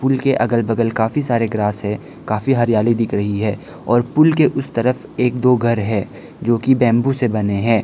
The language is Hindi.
पुल के अगल बगल काफी सारे ग्रास है काफी हरियाली दिख रही है और पुल के उस तरफ एक दो घर है जो कि बंबू से बने हैं।